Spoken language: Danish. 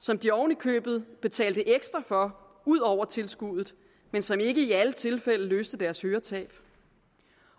som de oven i købet betalte ekstra for ud over tilskuddet men som ikke i alle tilfælde løste deres høretab